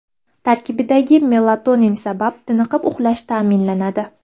Tarkibidagi melatonin sabab tiniqib uxlash ta’minlanadi.